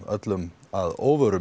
öllum á óvart